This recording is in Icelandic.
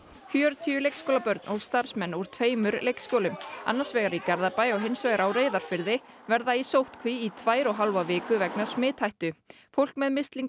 fjörutíu leikskólabörn og starfsmenn úr tveimur leikskólum annars vegar í Garðabæ og hins vegar á Reyðarfirði verða í sóttkví í tvær og hálfa viku vegna smithættu fólk með mislinga